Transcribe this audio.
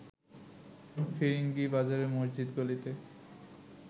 ফিরিঙ্গি বাজারের মসজিদ গলিতে